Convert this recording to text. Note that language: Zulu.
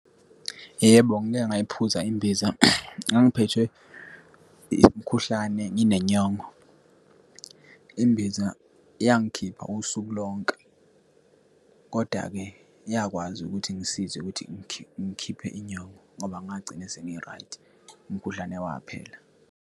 Yebo, ngike ngayiphuza imbiza, ngangiphethwe umkhuhlane, nginenyongo. Imbiza yangikhipha usuku lonke, kodwa-ke yakwazi ukuthi ingisize ukuthi ingikhiphe inyongo ngoba ngagcina sengi-right, umkhuhlane waphela.